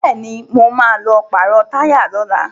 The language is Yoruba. Bẹ́ẹ̀ni, mo ma lọ pàrọ̀ táyà lọ́la